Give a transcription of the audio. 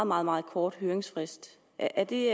meget meget kort høringsfrist er det